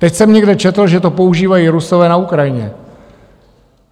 Teď jsem někde četl, že to používají Rusové na Ukrajině.